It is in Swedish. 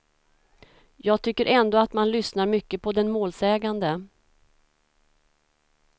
Jag tycker ändå att man lyssnar mycket på den målsägande.